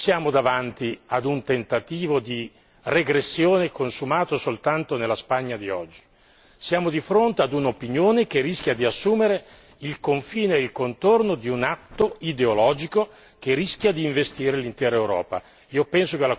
Dunque non siamo davanti ad un tentativo di regressione consumato soltanto nella Spagna di oggi siamo di fronte ad un'opinione che rischia di assumere il confine e il contorno di un atto ideologico che rischia di investire l'intera Europa.